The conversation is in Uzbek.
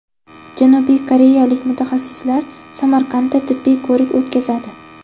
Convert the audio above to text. Janubiy koreyalik mutaxassislar Samarqandda tibbiy ko‘rik o‘tkazadi.